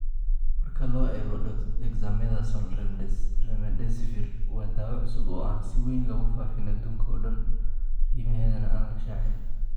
Marka loo eego Dexamethasone, Remdesivir waa daawo cusub oo aan si weyn loogu faafin adduunka oo dhan, qiimaheedana aan la shaacin.